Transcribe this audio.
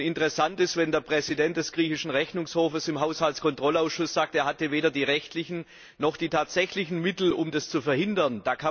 Interessant ist, wenn der Präsident des griechischen Rechnungshofs im Haushaltskontrollausschuss sagt, er hatte weder die rechtlichen noch die tatsächlichen Mittel, um das zu verhindern.